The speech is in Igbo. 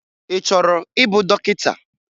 Ị chọrọ ịbụ dọkịta?